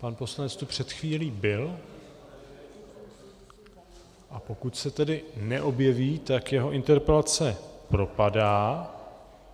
Pan poslanec tu před chvílí byl, a pokud se tedy neobjeví, tak jeho interpelace propadá.